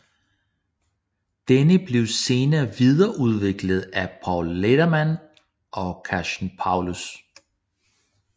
Denne blev senere videreudviklet af Paul Letterman og Kathchen Paulus